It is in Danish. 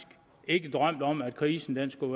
ikke drømt om at krisen skulle